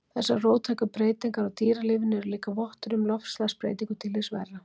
Þessar róttæku breytingar á dýralífinu eru líklega vottur um loftslagsbreytingu til hins verra.